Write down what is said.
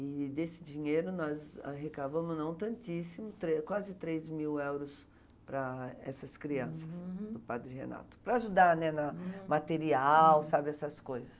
E desse dinheiro nós um tantíssimo, trê, quase três mil euros para essas crianças do Padre Renato, para ajudar, né, na material, sabe, essas coisas.